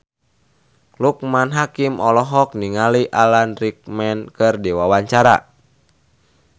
Loekman Hakim olohok ningali Alan Rickman keur diwawancara